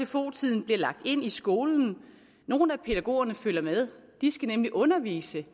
sfo tiden bliver lagt ind i skolen nogle af pædagogerne følger med de skal nemlig undervise det